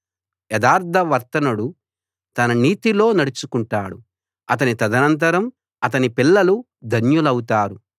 యథార్థవర్తనుడు తన నీతిలో నడుచుకుంటాడు అతని తదనంతరం అతని పిల్లలు ధన్యులౌతారు